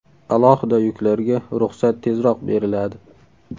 Alohida yuklarga ruxsat tezroq beriladi.